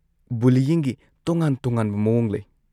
ꯕꯨꯂꯤꯏꯪꯒꯤ ꯇꯣꯉꯥꯟ-ꯇꯣꯉꯥꯟꯕ ꯃꯑꯣꯡ ꯂꯩ꯫